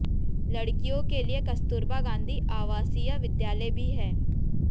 लड़कियों के लिए कस्तूरबा गांधी अवासीय विद्यालय भी है